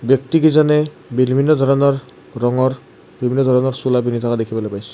ব্যক্তিকিজনে বিভিন্ন ধৰণৰ ৰঙৰ বিভিন্ন ধৰণৰ চোলা পিন্ধি থকা দেখিবলৈ পাইছোঁ।